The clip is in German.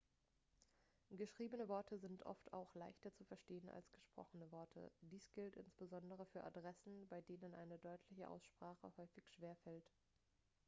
geschriebene worte sind oft auch leichter zu verstehen als gesprochene worte dies gilt insbesondere für adressen bei denen eine deutliche aussprache häufig schwer fällt